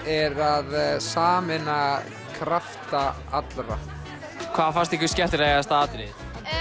er að sameina krafta allra hvað fannst ykkur skemmtilegasta atriðið